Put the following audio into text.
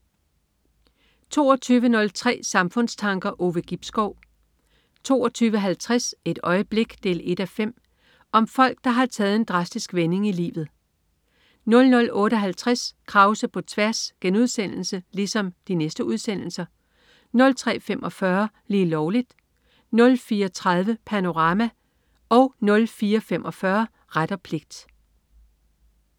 22.03 Samfundstanker. Ove Gibskov 22.50 Et øjeblik 1:5. Om folk der har taget en drastisk vending i livet 00.58 Krause på tværs* 03.45 Lige Lovligt* 04.30 Panorama* 04.45 Ret og pligt*